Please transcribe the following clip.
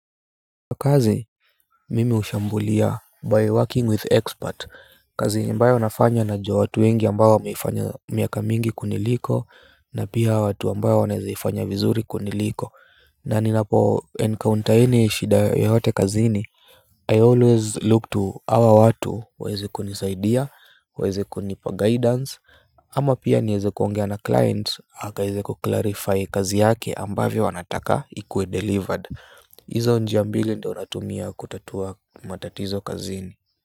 Kwa kazi mimi hushambulia by working with expert kazi ambayo nafanya najua watu wengi ambao wameifanya miaka mingi kuniliko na pia watu ambao wanaeza ifanya vizuri kuniliko na ninapoencounter any shida yoyote kazini I always look to hawa watu waeze kunisaidia waeze kunipa guidance ama pia nieze kuongea na client akaize kuclarify kazi yake ambavyo anataka ikuwe delivered. Izo njia mbili ndo natumia kutatua matatizo kazini.